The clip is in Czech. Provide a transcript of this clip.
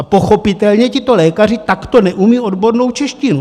A pochopitelně tito lékaři takto neumějí odbornou češtinu.